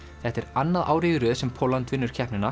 þetta er annað árið í röð sem Pólland vinnur keppnina